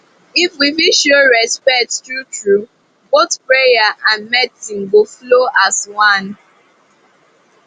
if we fit show respect truetrue both prayer and medicine go flow as one